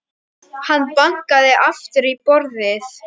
Hann bankaði aftur í borðið.